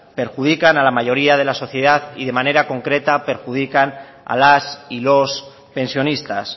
perjudica a la mayoría de la sociedad y de manera concreta perjudican a las y los pensionistas